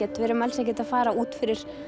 að við erum alls ekkert að fara út fyrir